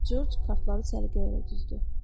Corc kartları səliqə elə düzdü.